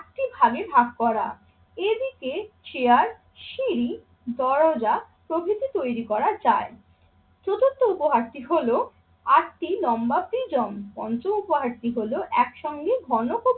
আটটি ভাগে ভাগ করা। এদিকে চেয়ার, সিঁড়ি, দরজা, প্রভৃতি তৈরি করা যায়। চতুর্থ উপহারটি হল আটটি লম্বা প্রিজম। পঞ্চম উপহারটি হল একসঙ্গে ঘনক